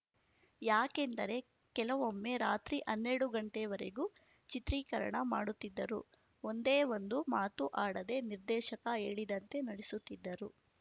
ಯಾಕೆಂದರೆ ಕೆಲವೊಮ್ಮೆ ರಾತ್ರಿ ಹನ್ನೆರಡು ಗಂಟೆವರೆಗೂ ಚಿತ್ರೀಕರಣ ಮಾಡುತ್ತಿದ್ದರೂ ಒಂದೇ ಒಂದು ಮಾತೂ ಆಡದೆ ನಿರ್ದೇಶಕ ಹೇಳಿದಂತೆ ನಟಿಸುತ್ತಿದ್ದರು